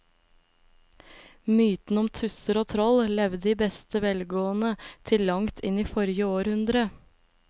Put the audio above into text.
Mytene om tusser og troll levde i beste velgående til langt inn i forrige århundre.